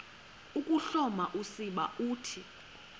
ukuhloma usiba uthi